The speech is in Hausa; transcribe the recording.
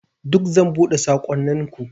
Duk zan buɗe saƙonninku.